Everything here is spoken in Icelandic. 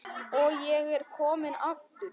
Og ég er kominn aftur!